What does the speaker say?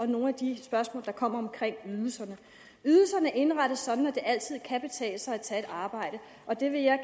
nogle af de spørgsmål der kom om ydelserne ydelserne indrettes sådan at det altid kan betale sig at tage et arbejde det vil jeg